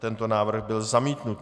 Tento návrh byl zamítnut.